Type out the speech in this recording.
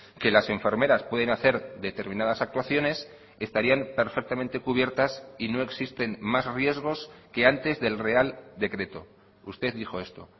que las enfermeras pueden hacer determinadas actuaciones estarían perfectamente cubiertas y no existen más riesgos que antes del real decreto usted dijo esto